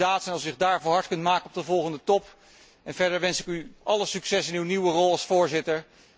Het zou een mooie daad zijn als u zich daarvoor hard kunt maken op de volgende top en verder wens ik u alle succes in uw nieuwe rol als voorzitter.